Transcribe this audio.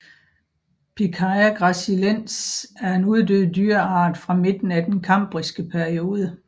Pikaia gracilens er en uddød dyreart fra midten af den kambriske periode